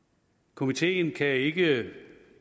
komiteen kan ikke